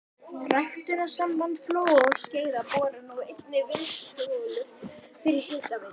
Ræktunarsamband Flóa og Skeiða borar nú einnig vinnsluholur fyrir hitaveitur.